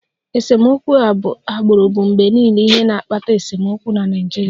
Esemokwu agbụrụ bụ mgbe niile ihe na-akpata esemokwu na Naịjirịa